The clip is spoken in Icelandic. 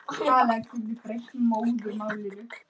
Staða efstu liða: Man.